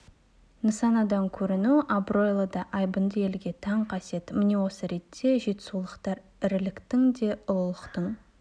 нысанадан көріну абыройлы да айбынды елге тән қасиет міне осы ретте жетісулықтар іріліктің де ұлылықтың